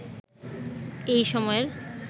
এই সময়ের